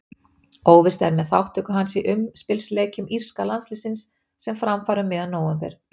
Óvíst er með þátttöku hans í umspilsleikjum írska landsliðsins sem fram fara um miðjan nóvember.